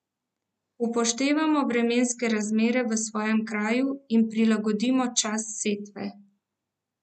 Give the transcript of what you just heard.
Upoštevamo vremenske razmere v svojem kraju in prilagodimo čas setve.